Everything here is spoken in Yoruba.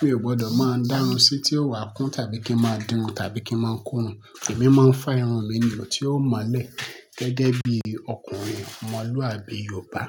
mi ò gbọdọ̀ máa ń dárùn sí tí ó wà kún tàbí kí ń máa dirun tàbí kí ń máa ko irun. Èmi máa ń fa irun mi nì tí ó mọ́lẹ̀ gẹ́gẹ́ bí ọkùnrin ọmọlúàbí Yorùbá.